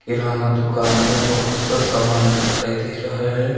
किराना दुकान में बहोत सा सामान दिखाई दे रहा है।